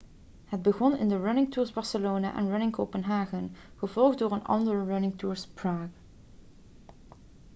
het begon in de running tours barcelona en running copenhagen kopenhagen gevolgd door onder andere running tours prague praag